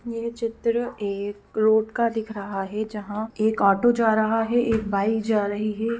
यह चित्र एक रोड का दिख रहा है। जहाँ एक ऑटो जा रहा है। एक बाइक जा रही है।